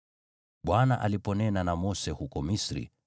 Bwana aliponena na Mose huko Misri,